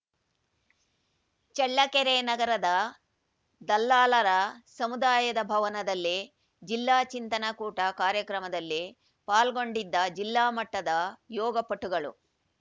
ಚಳ್ಳಕೆರೆ ನಗರದ ದಲ್ಲಾಲರ ಸಮುದಾಯದ ಭವನದಲ್ಲಿ ಜಿಲ್ಲಾ ಚಿಂತನ ಕೂಟ ಕಾರ್ಯಕ್ರಮದಲ್ಲಿ ಪಾಲ್ಗೊಂಡಿದ್ದ ಜಿಲ್ಲಾ ಮಟ್ಟದ ಯೋಗಪಟುಗಳು